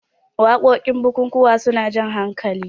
wakokin bukukuwa suna Jan hakali